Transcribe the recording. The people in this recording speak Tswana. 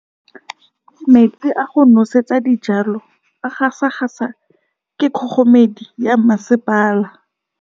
Metsi a go nosetsa dijalo a gasa gasa ke kgogomedi ya masepala.